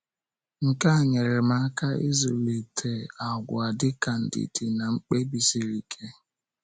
Nke a nyere m aka ịzụlite àgwà dịka ndidi na mkpebi siri ike.